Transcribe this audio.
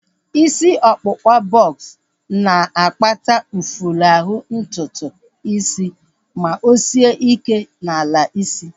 Isi ọkpụkpa bọks na-akpata mfulahu ntutu isi ma o sie ike n'ala isi